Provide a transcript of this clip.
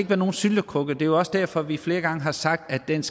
være nogen syltekrukke det er også derfor at vi flere gange har sagt at dens